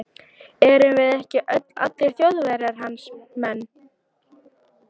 Erum við ekki öll, allir Þjóðverjar, hans menn.